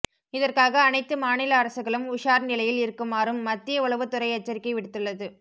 இதற்காக அனைத்து மாநில அரசுகளும் உஷார் நிலையில் இருக்குமாறும் மத்திய உளவுத்துறை எச்சரிக்கை விடுத்துள்ளது